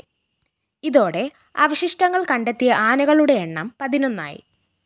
ഇതോടെ അവശിഷ്ടങ്ങള്‍ കണ്ടെത്തിയ ആനകളുടെ എണ്ണം പതിനൊന്നായി